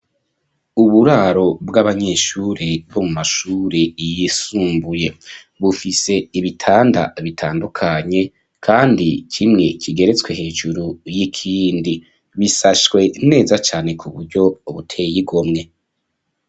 Uburaro bw'abanyeshuri bo mu mashuri yisumbuye, bufise ibitanda bitandukanye, kandi kimwe kigeretswe hejuru y'ikindi, bisashwe neza cane ku buryo buteye igomwe.